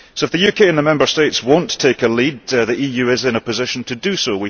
So if the UK and the Member States will not take the lead, the EU is in a position to do so.